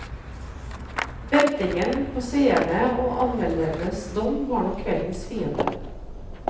Ventingen på seerne og anmeldernes dom var nok kveldens fiende.